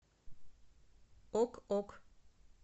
ок ок